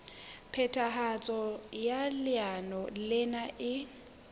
phethahatso ya leano lena e